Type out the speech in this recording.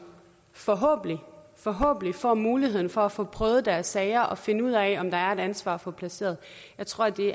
forhåbentlig forhåbentlig får muligheden for at få prøvet deres sager og finde ud af om der er et ansvar at få placeret jeg tror at det